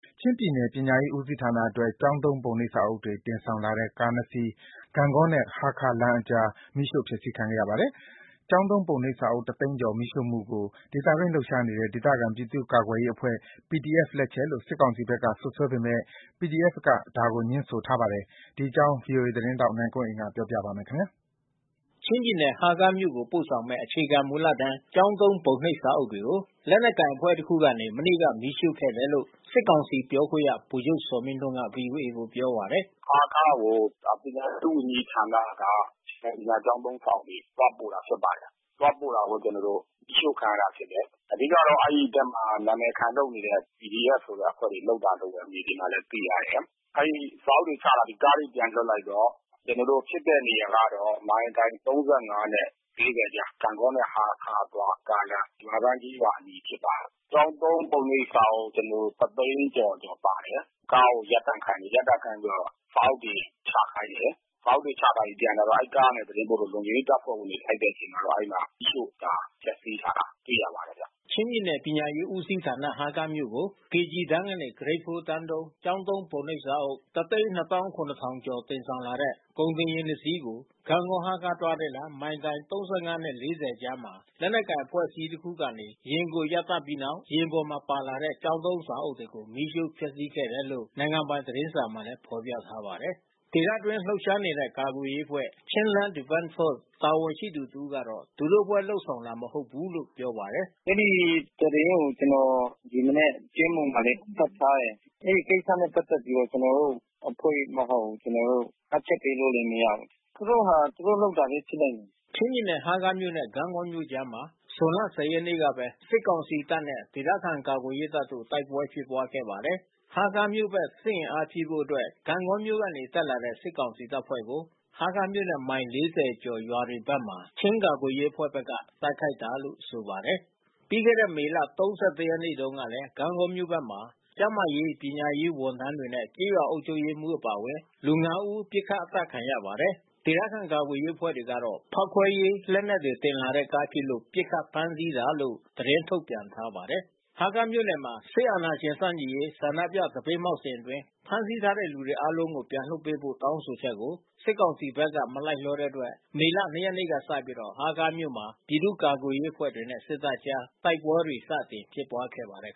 ချင်းပြည်နယ် ပညာရေးဦးစီးဌာနအတွက် ကျောင်းသုံး ပုံနှိပ်စာအုပ်တွေတင်ဆောင်လာတဲ့ကားနှစ်စီး ဂန့်ဂေါနှင့် ဟားခါး လမ်းအကြား မီးရှို့ဖျက်ဆီးခံခဲ့ပါတယ်။ ကျောင်းသုံးပုံနှိပ်စာအုပ် ၁ သိန်းကျော် မီးရှို့မှုကို ဒေသတွင်းလှုပ်ရှားနေတဲ့ ဒေသခံပြည်သူ့ကာကွယ်အဖွဲ့ PDFလက်ချက်လို့ စစ်ကောင်စီဘက်ကစွပ်စွဲပေမဲ့ PDF ဘက်က ဒါကိုငြင်းဆို ထား ပါတယ်။ ဒီအကြောင်း ဗွီအိုသတင်းထောက်နိုင်ကွန်းအိန်က ပြောပြပေးမှာပါ။ ချင်းပြည်နယ်ဟားခါးမြို့ကိုပို့ဆောင်မဲ့ အခြေခံမူလတန်း ကျောင်းသုံး ပုံနှိပ်စာအုပ်တွေကို လက်နက်ကိုင်အဖွဲ့ တခုကနေ မနေ့ကမီးရှို့ခဲ့တယ်လို့ စစ်ကောင်စီပြောခွင့်ရဗိုလ်ချုပ်ဇော်မင်းထွန်းကဗွီအိုအေကိုပြောပါတယ်။ ဟားခါးကို ပညာရေးဒုဝန်ကြီးဌာနက အခြေခံပညာကျောင်းသုံးစာအုပ်တွေသွားပို့တာဖြစ်ပါတယ်။ သွားပို့တာကို ကျွန်တော်တို့မီးရှို့ခံရတာဖြစ်ပါတယ်။ အဓိကတော့အဲဒီဖက်မှာနာမယ်ခံလုပ်နေတဲ့ PDF ဆိုတဲ့အဖွဲ့လုပ်တာ လို့ဘဲမြေပြင်မှာလဲသိရတယ်။ အဲဒီစာအုပ်တွေချပြီးကားတွေပြန်လွှတ်လိုက်တော့ ကျွန်တော်တို့ မိုင်တိုင်၃၅နဲ့၄၀ကြား ဂန့်ဂေါနဲ့ဟားခါးအသွားကားလမ်း။ ရွာတန်းကျေးရွာအနီးဖြစ်ပါတယ်။ ကျောင်းသုံးပုံနှိပ်စာအုပ် တသိန်းကျော် ကျော်ပါတယ်။ ကားကိုရပ်တန့်ခိုင်းပြီးတော့ စာအုပ်တွေချခိုင်းတယ်။ စာအုပ်တွေချခိုင်းပြီးပြန်လာတော့ အဲဒီကား တွေသတင်းပို့တော့ လုံခြုံရေးတပ်ဖွဲ့ဝင်တွေလိုက်တဲ့အချိန်မှာတော့ အဲဒီမှာမီးရှို့တာ ဖျက်စီးထားတာ တွေ့ရ ပါတယ်ဗျ။ ချင်းပြည်နယ်ပညာရေးဦးစီးဌာန ဟားခါးမြို့ကို KG တန်းကနေ Grade -4 တန်းသုံး ကျောင်းသုံး ပုံနှိပ်စာအုပ် (၁၂၇၀၀၀) ကျော် တင်ဆောင်လာတဲ့ ကုန်တင်ယာဉ် နှစ်စီးကို ဂန့်ဂေါ-ဟားခါးသွားကားလမ်း မိုင်တိုင် ၃၅-၄၀ကြားမှာ လက်နက်ကိုင်အဖွဲ့အစည်းတစ်ခုကနေ ယာဉ်ကိုရပ်တန့်ပြီးနောက် ယာဉ်ပေါ်ပါလာတဲ့ ကျောင်းသုံးစာအုပ် တွေကို မီးရှို့ဖျက်ဆီးခဲ့တယ်လို့နိုင်ငံပိုင် သတင်းစာမှာဖော်ပြထားပါတယ်။ ဒေသအတွင်းလှုပ်ရှားနေတဲ့ ကာကွယ်ရေးအဖွဲ့ Chinland Defense Force မှ တာဝန်ရှိသူ တစ်ဦးကတော့ သူတို့ အဖွဲ့ လုပ်ဆောင်တာမဟုတ်ဘူးလို့ပြောပါတယ်။ "အဲဒီသတင်းကို ကျွန်တော်ဒီမနက် ကြေးမှံမှာလဲဖတ်ထားတယ်။ အဲဒီကိစ္စနဲ့ပက်သက်ပြီးတော့ကျွန်တော်တို့ အဖွဲ့မဟုတ်ဘူး။ ကျွန်တော်တို့ မှတ်ချက်ပေးလို့လဲမရဘူး။ သူတို့ဟာသူတို့လုပ်တာဘဲဖြစ်နိုင်တယ်။ ချင်းပြည်နယ် ဟားခါးမြို့နဲ့ ဂန့်ဂေါမြို့ကြားမှာ ဇွန်လ ၁၀ ရက်နေ့ကပဲ စစ်ကောင်စီတပ်နဲ့ ဒေသခံကာကွယ်ရေးတပ်တို့ တိုက်ပွဲဖြစ်ပွားခဲ့ပါသေးတယ်။ ဟားခါးမြို့ဘက် စစ်အင်အားဖြည့်ဖို့အတွက် ဂန့်ဂေါမြို့ကနေတက်လာတဲ့ စစ်ကောင်စီတပ်ဖွဲ့ကို ဟားခါးမြို့နဲ့မိုင် ၄၀ အကျော် ရွာတွေဘက်မှာ ချင်းကာကွယ်ရေးအဖွဲ့ဘက်က တိုက်ခိုက်တာလို့ဆိုပါတယ်။" ပြီးခဲ့တဲ့မေလ(၃၁)ရက်နေ့တုန်းကလဲ ဂန့်ဂေါမြို့ဘက်မှာ ကျန်းမာရေး ပညာရေးဝန်ထမ်းတွေနဲ့ကျေးရွာအုပ်ချုပ်ရေးမှူး အပါ လူ(၅) ဦး ပစ်ခတ် အသတ်ခံရပါတယ်။ ေ ဒသခံကာကွယ်ရေးအဖွဲ့တွေကတော့ ဖောက်ခွဲရေးတဲ့လက်နက်တင်လာတဲ့ကား ဖြစ်လို့ပစ်ခတ်ဖမ်းဆီးတာလို့ သတင်းထုတ်ပြန်ထားပါတယ်။ ဟားခါးမြို့နယ်မှာ စစ်အာဏာရှင်ဆန့်ကျင်ရေးဆန္ဒပြသပိတ်မှောက်စဉ်အတွင်း ဖမ်းဆီးခံထားရသူတွေ အားလုံးကို ပြန်လွှတ်ပေးဖို့တောင်းဆိုချက်ကို စစ်ကောင်စီဘက်က မလိုက်လျောတဲ့အတွက် မေလ ၂ ရက်နေ့ကစပြီး ဟားခါးမြို့ မှာ ပြည်သူ့ကာကွယ်ရေးအဖွဲ့တွေနဲ့ စစ်တပ်ကြား တိုက်ပွဲတွေ စတင်ဖြစ်ပွားခဲ့ပါတယ်